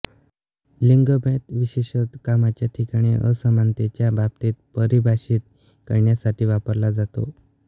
लिंगभेद विशेषत कामाच्या ठिकाणी असमानतेच्या बाबतीत परिभाषित करण्यासाठी वापरला जातो